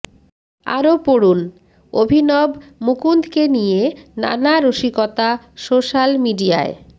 আরও পড়ুন অভিনব মুকুন্দকে নিয়ে নানা রসিকতা সোশ্যাল মিডিয়ায়